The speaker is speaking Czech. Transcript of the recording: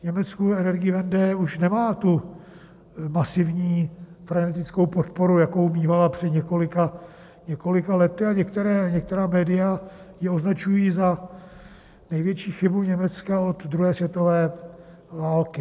V Německu Energiewende už nemá tu masivní frenetickou podporu, jakou mívala před několika lety, a některá média ji označují za největší chybu Německa od druhé světové války.